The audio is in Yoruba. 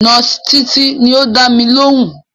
Nọ́ọ̀sì Títí ni ó dámi lóhùn